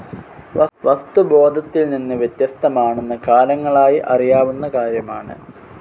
വസ്തു ബോധത്തിൽ നിന്ന് വ്യത്യസ്തമാനെന്ന് കാലങ്ങളായി അറിയാവുന്ന കാര്യമാണ്.